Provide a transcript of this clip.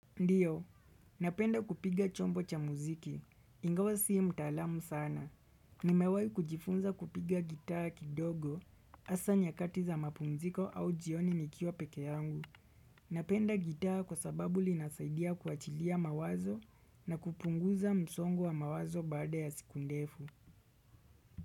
Ndio, napenda kupiga chombo cha mziki. Ingawa sii mtalamu sana. Nimewai kujifunza kupiga gitaa kidogo hasa nyakati za mapumziko au jioni nikiwa peke yangu. Napenda gitaa kwa sababu linasaidia kuachilia mawazo na kupunguza msongo wa mawazo baada ya siku ndefu.